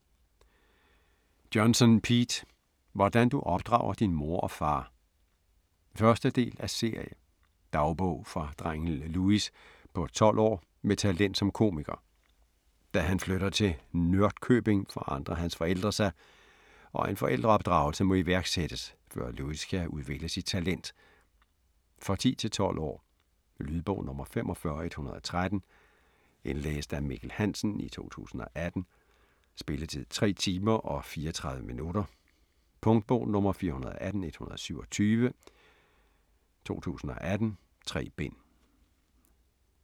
Johnson, Pete: Hvordan du opdrager din mor og far 1. del af serie. Dagbog fra drengen Louis på 12 år med talent som komiker. Da han flytter til Nørdkøbing forandrer hans forældre sig, og en forældreopdragelse må iværksættes, før Louis kan udvikle sit talent. For 10-12 år. Lydbog 45113 Indlæst af Mikkel Hansen, 2018. Spilletid: 3 timer, 34 minutter. Punktbog 418127 2018. 3 bind.